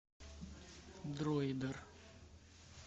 дроидер